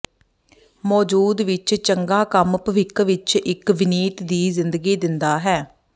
ਮੌਜੂਦ ਵਿੱਚ ਚੰਗਾ ਕੰਮ ਭਵਿੱਖ ਵਿਚ ਇੱਕ ਵਿਨੀਤ ਦੀ ਜ਼ਿੰਦਗੀ ਦਿੰਦਾ ਹੈ